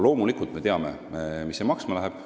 Loomulikult me teame, mis see kõik maksma läheb.